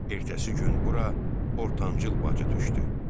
Ertəsi gün bura ortancıl bacı düşdü.